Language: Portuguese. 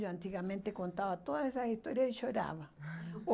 Eu antigamente contava todas essas histórias e chorava.